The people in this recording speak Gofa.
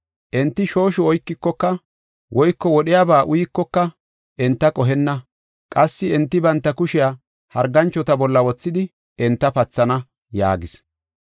Enti shooshu oykikoka woyko wodhiyaba uyikoka enta qohenna. Qassi enti banta kushiya harganchota bolla wothidi enta pathana” yaagis.